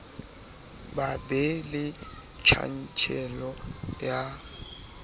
ba be le tjantjello ya